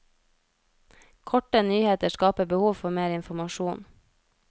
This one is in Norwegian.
Korte nyheter skaper behov for mer informasjon.